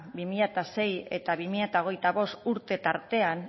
bi mila sei eta bi mila hogeita bost urte tartean